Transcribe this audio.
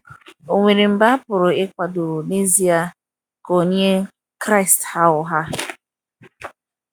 Ọ̀ nwere mgbe a pụrụ ịkwadọ n'ezia ka onye Kraịst ghaa ụgha?